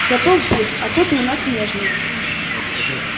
готов будь а то ты у нас нежный